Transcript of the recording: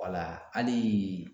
hali